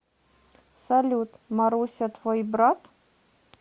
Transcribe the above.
салют маруся твой брат